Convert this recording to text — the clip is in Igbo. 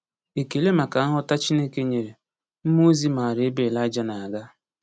Ekele maka nghọta Chineke nyere, mmụọ ozi maara ebe Elija na-aga.